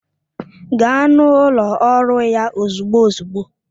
Gaa n'ụlọ ọrụ ya ozugbo ozugbo!